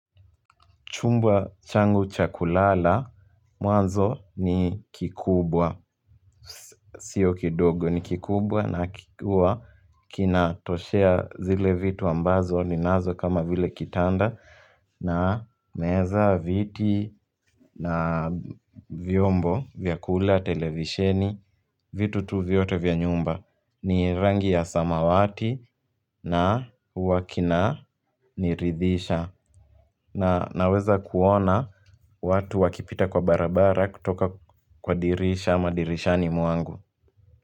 Chumba changu cha kulala. Mwanzo ni kikubwa. Sio kidogo ni kikubwa na huwa kinatoshea zile vitu ambazo ninazo kama vile kitanda. Na meza, viti na vyombo vya kula, televisheni, vitu tu vyote vya nyumba. Ni rangi ya samawati na huwa kinaniridhisha. Na naweza kuona watu wakipita kwa barabara kutoka kwa dirisha ama dirishani mwangu.